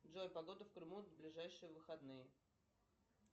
джой погода в крыму на ближайшие выходные